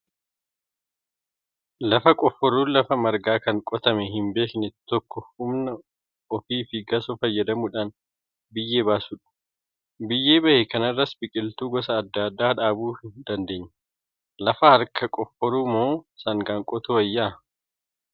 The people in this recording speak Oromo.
Lafa qofforuun lafa margaa kan qotamee hin beekne tokko humna ofii fi gasoo fayyadamuudhaan biyyee baasuudha. Biyyee bahe kanarras biqiltuu gosa adda addaa dhaabuu dandeenya. Lafa harkaan qofforuu moo sangaan qotuu wayyaa?